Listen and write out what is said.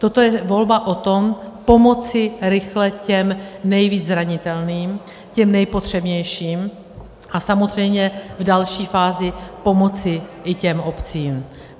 Toto je volba o tom pomoci rychle těm nejvíc zranitelným, těm nejpotřebnějším a samozřejmě v další fázi pomoci i těm obcím.